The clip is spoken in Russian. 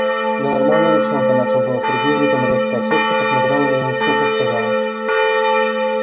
да нормальная девчонка начал было сергей затем резко осёкся посмотрел на меня и сухо сказал